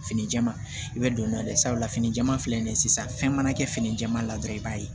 Fini jɛman i bɛ don n'o ye sabula fini jɛman filɛ nin ye sisan fɛn mana kɛ fini jɛman la dɔrɔn i b'a ye